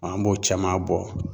An b'o caman bɔ